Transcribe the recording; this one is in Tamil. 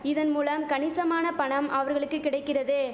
இதன் மூலம் கணிசமான பணம் அவர்களுக்கு கிடைக்கிறது